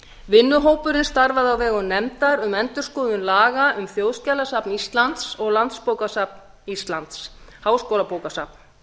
vinnuhópurinn starfaði á vegum nefndar um endurskoðun laga um þjóðskjalasafn íslands og landsbókasafn íslands háskólabókasafn